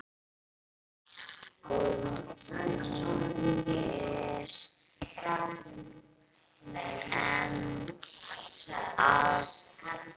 Og hún er enn að.